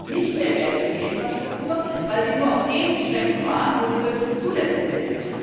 Das kostet nicht mehr Geld für die Infrastruktur, weil sie nur auf den Strecken fahren, wo sie wirklich zulässig sind.